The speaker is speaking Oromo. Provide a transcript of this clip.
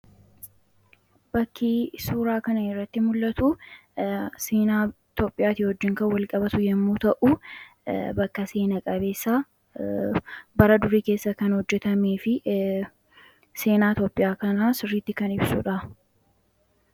Bakkii suuraa kana irratti mul'atu seenaa Itiyoophiyaatii hojiin kan wal qabatu yommuu ta'u bakka seena qabeessa bara durii keessa kan hojjetamee fi seenaa Itiyoophiyaa kanaa sirriitti kan ibsuudha.